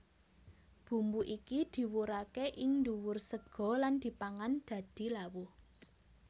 Bumbu iki diwurake ing ndhuwur sega lan dipangan dadi lawuh